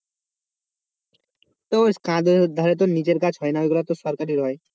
ধারে তো নিজের গাছ হয় না ওগুলো তো সরকারি হয়।